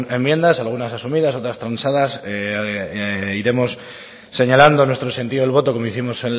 enmiendas algunas asumidas otras transadas iremos señalando nuestro sentido del voto como hicimos